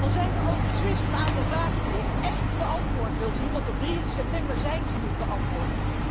Dan zijn over Swift een aantal vragen die ik ècht beantwoord wil zien, want op 3 september zijn ze niet beantwoord.